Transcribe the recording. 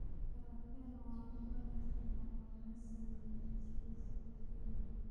Falafel waa kubad shiilan oo laga sameeyay chickpeas la shiilay.